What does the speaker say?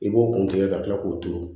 I b'o kun tigɛ ka kila k'o turu